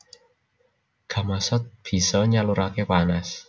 Gamasot bisa nyaluraké panas